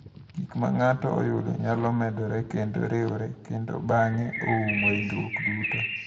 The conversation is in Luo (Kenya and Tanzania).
Gik ma ng’ato oyudo nyalo medore kendo riwre kendo bang’e oumo ringruok duto.